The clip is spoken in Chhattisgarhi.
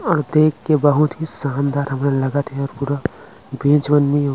और देख के बहुत ही शानदार हामरा लागत हे पूरा बिजोनियो--